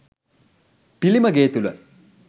පිළිම ගේ තුළ